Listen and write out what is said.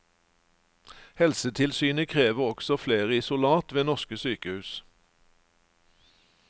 Helsetilsynet krever også flere isolat ved norske sykehus.